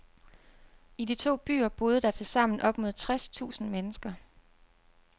I de to byer boede der til sammen op mod tres tusind mennesker.